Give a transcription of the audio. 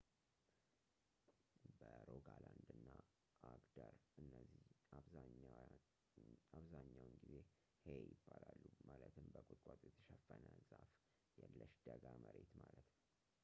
በሮጋላንድ እና አግደር እነዚህ አብዛኛውን ጊዜ ሄይ ይባላሉ ማለትም በቁጥቋጦ የተሸፈነ ዛፍ የለሽ ደጋ መሬት ማለት ነው